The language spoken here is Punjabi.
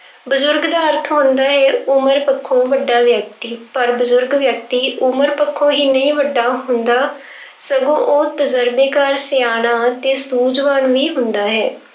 ਬਜ਼ੁਰਗ ਦਾ ਅਰਥ ਹੁੰਦਾ ਹੈ, ਉਮਰ ਪੱਖੋਂ ਵੱਡਾ ਵਿਅਕਤੀ ਪਰ ਬਜ਼ੁਰਗ ਵਿਅਕਤੀ ਉਮਰ ਪੱਖੋਂ ਹੀ ਨਹੀਂ ਵੱਡਾ ਹੁੰਦਾ ਸਗੋਂ ਉਹ ਤਜੁਰਬੇਕਾਰ, ਸਿਆਣਾ ਤੇ ਸੂਝਵਾਨ ਵੀ ਹੁੰਦਾ ਹੈ।